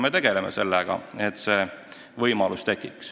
Me tegeleme sellega, et see võimalus tekiks.